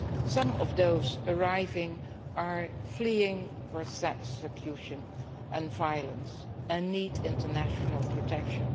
Some of those arriving are fleeing persecution and violence and need international protection.